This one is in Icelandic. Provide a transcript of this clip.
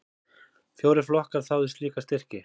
Fjórir flokkar þáðu slíka styrki.